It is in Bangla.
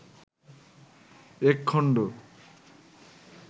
এক খন্ড